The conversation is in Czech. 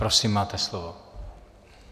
Prosím, máte slovo.